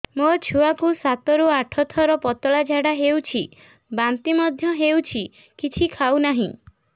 ମୋ ଛୁଆ କୁ ସାତ ରୁ ଆଠ ଥର ପତଳା ଝାଡା ହେଉଛି ବାନ୍ତି ମଧ୍ୟ୍ୟ ହେଉଛି କିଛି ଖାଉ ନାହିଁ